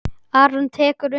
Aron tekur undir það.